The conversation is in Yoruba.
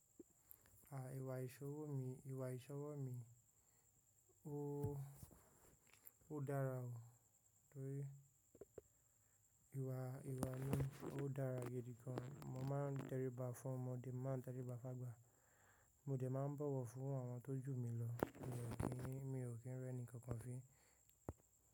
Àà Ìwà ìṣọwọ́ mi, Ìwà ìṣọwọ́ mi, ó dára o. Torí ìwà, ìwà mi ó dára gidi gan. Mo máa ń tẹríba fún ọmọdé, màá tẹríba fágba. Mò jẹ máa ń bọ̀wọ̀ fún àwọn tó jù mi lọ torí pé mi ò kí ń rẹ́ni kankan fi.